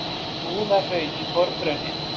Búðahraun í forgrunni.